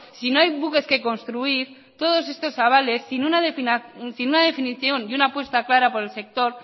si no hay buques que construir todas estos avales sin una definición y una apuesta clara por el sector